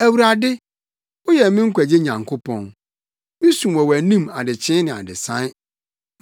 Awurade, woyɛ me nkwagye Nyankopɔn misu wɔ wʼanim adekyee ne adesae.